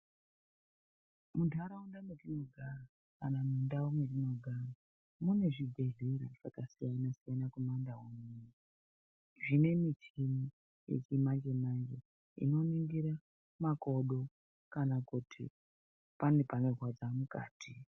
Muntharaunda mwetinogara, kana mundau mwetinogara, mune zvibhedhlera zvakasiyana-siyana kumandau unono, zvine michhini yechimanje-manje, inoningira makodo kana kuti, pane zvinorwadza mukati.